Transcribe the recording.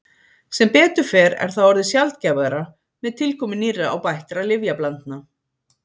sem betur fer er það orðið sjaldgæfara með tilkomu nýrra og bættra lyfjablandna